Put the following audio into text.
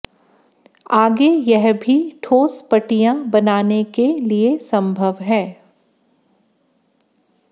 आगे यह भी ठोस पटिया बनाने के लिए संभव है